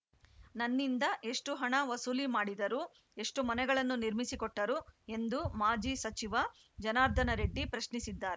ನನ್ನಿಂದ ಎಷ್ಟುಹಣ ವಸೂಲಿ ಮಾಡಿದರು ಎಷ್ಟುಮನೆಗಳನ್ನು ನಿರ್ಮಿಸಿಕೊಟ್ಟರು ಎಂದು ಮಾಜಿ ಸಚಿವ ಜನಾರ್ದನ ರೆಡ್ಡಿ ಪ್ರಶ್ನಿಸಿದ್ದಾ